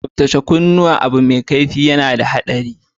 Tsabtacen kunuwa da Abu mai kaifi na da haɗari.